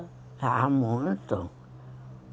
Ah, muito.